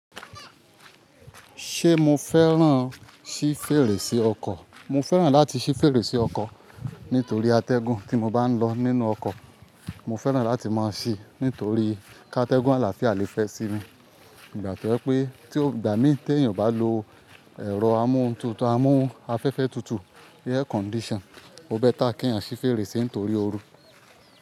Ṣé mo fẹ́ràn ṣí fèrèsé ọkọ̀? Mo fẹ́ràn láti ṣí fèrèsé ọkọ̀ nítorí atẹ́gùn, tí mo bá ń lọ nínú ọkọ̀, mo fẹ́ràn láti máa ṣí nítorí ká atẹ́gùn àlàáfíà lè fẹ́ sí mi. Ìgbà tọ́ jē pé tí ó gbà mí tí èèyàn ò bá lo ẹ̀rọ amúntutù, amú afẹ́fẹ́ tutù, air condition, ó bẹ́ ta kí ń ṣí fèrèsé nítorí oru.